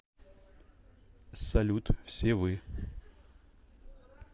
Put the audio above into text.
салют все вы